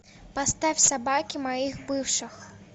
поставь собаки моих бывших